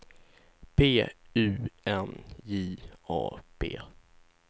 P U N J A B